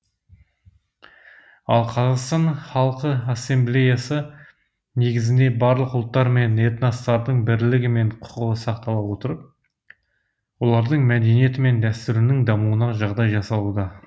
ал қазақстан халқы ассамблеясы негізінде барлық ұлттар мен этностардың бірлігі мен құқығы сақтала отырып олардың мәдениеті мен дәстүрінің дамуына жағдай жасалуда